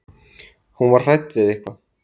Hún var hrædd við eitthvað.